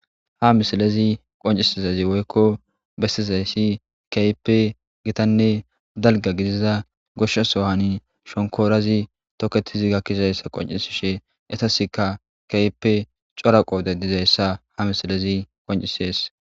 ha misilezi qoncisizazi woykko bestizayssi keype gitanne dalga gidiza goshshasohani shonkoorazi toketizi gakkizayssa qoncisishe etaskka keyppe coraqoode dizayssa ha misilezi qoncisees